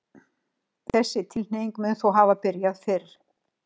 þessi tilhneiging mun þó hafa byrjað fyrr